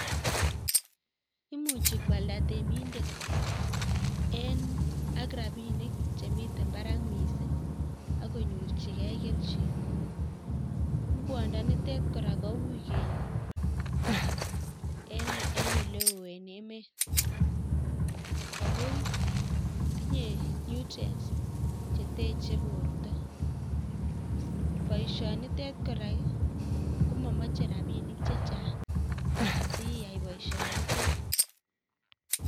Imuchi kwalda temindet eng' ak rabinik chemite barak miising' akonyorchigei kelchin. Ngwodo nete kora kowui kenyor en oleo en emet ako tinye nutrients cheteche borto. boisiet nitet kora komamache rabinik chechang' asiyai boisio nite